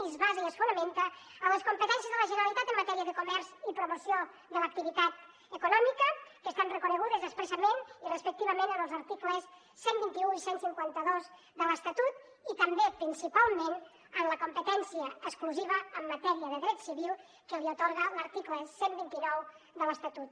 i es basa i es fonamenta en les competències de la generalitat en matèria de comerç i promoció de l’activitat econòmica que estan reconegudes expressament i respectivament en els articles cent i vint un i cent i cinquanta dos de l’estatut i també principalment en la competència exclusiva en matèria de dret civil que li atorga l’article cent i vint nou de l’estatut